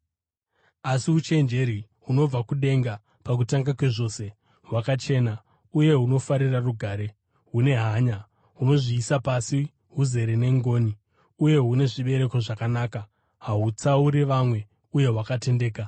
Asi uchenjeri hunobva kudenga pakutanga kwezvose, hwakachena; uye hunofarira rugare, hune hanya, hunozviisa pasi, huzere nengoni uye hune zvibereko zvakanaka, hahutsauri vamwe uye hwakatendeka.